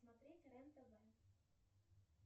смотреть рен тв